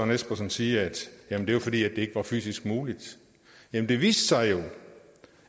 espersen sige at det var fordi det ikke var fysisk muligt jamen det viste sig jo